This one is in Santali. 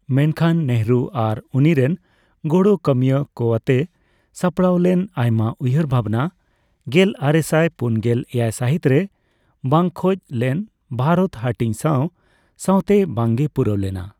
ᱢᱮᱱᱠᱷᱟᱱ, ᱱᱮᱦᱮᱨᱩ ᱟᱨ ᱩᱱᱤᱨᱮᱱ ᱜᱚᱲᱚ ᱠᱟᱹᱢᱤᱭᱟᱹᱠᱚᱣᱟᱛᱮ ᱥᱟᱯᱲᱟᱣ ᱞᱮᱱ ᱟᱭᱢᱟ ᱩᱭᱦᱟᱹᱨ ᱵᱷᱟᱵᱽᱱᱟ ᱜᱮᱞ ᱟᱨᱮᱥᱟᱭ ᱯᱩᱱᱜᱮᱞ ᱮᱭᱟᱭ ᱥᱟᱹᱦᱤᱛ ᱨᱮ ᱵᱟᱝ ᱠᱷᱚᱡᱽᱞᱮᱱ ᱵᱷᱟᱨᱚᱛ ᱦᱟᱹᱴᱤᱧ ᱥᱟᱣ ᱥᱟᱣᱛᱮ ᱵᱟᱝ ᱜᱮ ᱯᱩᱨᱟᱹᱣᱞᱮᱱᱟ ᱾